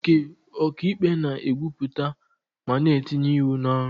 Nke ọka ikpe na-ekwupụta ma na-etinye ịwụ n'ọrụ